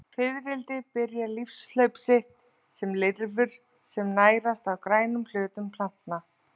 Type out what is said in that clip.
Fiðrildi byrja lífshlaup sitt sem lirfur sem nærast á grænum hlutum plantna.